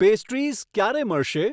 Pastries ક્યારે મળશે?